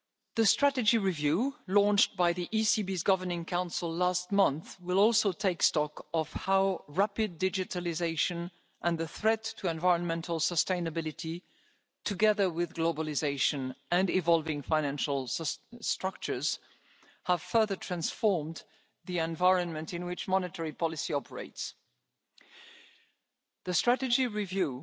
The strategy review launched by the ECB's Governing Council last month will also take stock of how rapid digitalisation and the threat to environmental sustainability together with globalisation and evolving financial structures have further transformed the environment in which monetary policy operates. The strategy